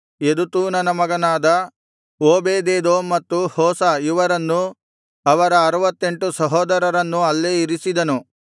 ಯೆದುತೂನನ ಮಗನಾದ ಓಬೇದೆದೋಮ್ ಮತ್ತು ಹೋಸ ಇವರನ್ನು ಅವರ ಆರುವತ್ತೆಂಟು ಸಹೋದರರನ್ನೂ ಅಲ್ಲೇ ಇರಿಸಿದನು